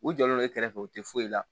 U jɔlen do e kɛrɛfɛ u tɛ foyi la